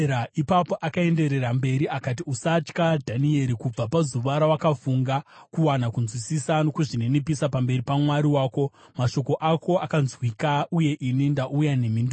Ipapo akaenderera mberi akati, “Usatya, Dhanieri. Kubva pazuva rawakafunga kuwana kunzwisisa nokuzvininipisa pamberi paMwari wako, mashoko ako akanzwika, uye ini ndauya nemhinduro.